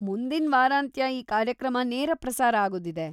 ಮುಂದಿನ್ ವಾರಾಂತ್ಯ ಈ ಕಾರ್ಯಕ್ರಮ ನೇರ ಪ್ರಸಾರ ಆಗೋದಿದೆ.